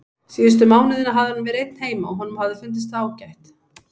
Síðustu mánuðina hafði hann verið einn heima og honum hafði fundist það ágætt.